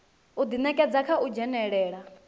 u ḓinekedza kha u dzhenelela